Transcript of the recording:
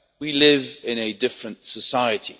We live in a different society.